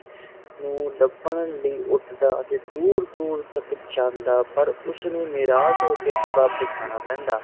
ਨੂੰ ਲੱਭਣ ਲਈ ਉੱਡਦਾ ਤੇ ਦੂਰ ਦੂਰ ਤੱਕ ਜਾਦਾ ਪਰ ਉਸਨੂੰ ਨਿਰਾਸ ਹੋਕੇ ਵਾਪਿਸ ਆਣਾ ਪੈਦਾ